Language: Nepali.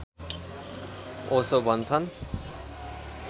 ओशो भन्छन्